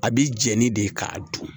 A bi jɛni de k'a dun